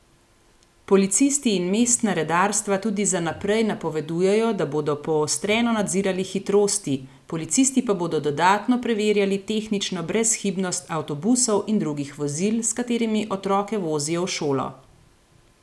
Policisti in mestna redarstva tudi za naprej napovedujejo, da bodo poostreno nadzirali hitrosti, policisti pa bodo dodatno preverjali tehnično brezhibnost avtobusov in drugih vozil, s katerimi otroke vozijo v šolo.